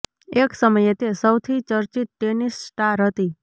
એક સમયે તે સૌથી ચર્ચિત ટેનિસ સ્ટાર હતી